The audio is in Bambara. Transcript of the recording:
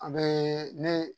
A bɛ ne